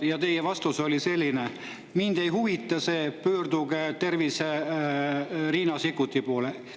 Ja teie vastus oli selline: mind ei huvita see, pöörduge terviseminister Riina Sikkuti poole.